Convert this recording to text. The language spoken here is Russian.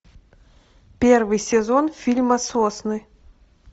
первый сезон фильма сосны